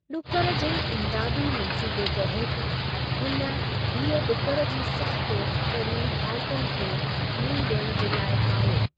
ॾुकरु जे इमदादी मंसूबे तहत, हुन हीअ ॾुकरु जी सख़्त तरीन हालतुनि खे मुंहुं डि॒यणु जे लाइ ठाहियो।